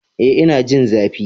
Ee, ina jin zafi.